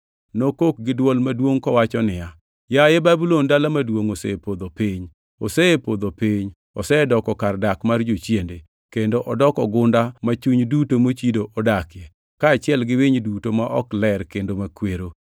Nokok gi dwol maduongʼ kowacho niya, “Yaye Babulon dala maduongʼ osepodho piny! Osepodho piny! Osedoko kar dak mar jochiende, kendo odoko gunda ma chuny duto mochido odakie, kaachiel gi winy duto ma ok ler kendo makwero.